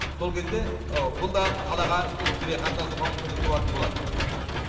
сол кезде бұл да қалаға тікелей қатынасуға мүмкіндік туады